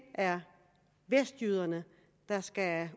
er vestjyderne der skal